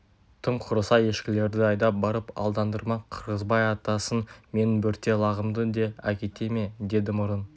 тым құрыса ешкілерді айдап барып алдандырмақ қырғызбай атасын менің бөрте лағымды да әкете ме деді мұрын